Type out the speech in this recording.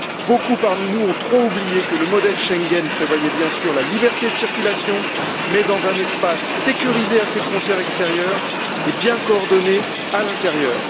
Beaucoup parmi nous ont oublié que le modèle de Schengen prévoyait bien sûr la liberté de circulation, mais dans un espace sécurisé à ses frontières extérieures et bien coordonné à l'intérieur.